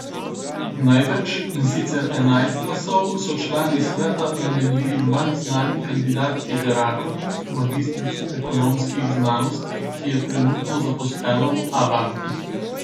Največ, in sicer enajst glasov so člani sveta namenili manj znani kandidatki Žerakovi, magistrici ekonomskih znanosti, ki je trenutno zaposlena v Abanki.